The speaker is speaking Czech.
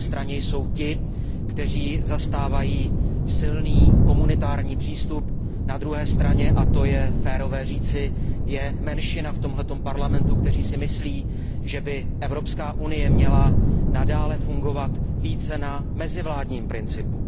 Na jedné straně jsou ti, kteří zastávají silný komunitární přístup. Na druhé straně, a to je férové říci, je v tomto Parlamentu menšina, která si myslí, že by Evropská unie měla nadále fungovat více na mezivládním principu.